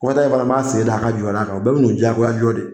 Kɔfɛ ta n fana m'an sen da a ka jɔ da kan, o bɛɛ bɛ nu jagoya jɔ de.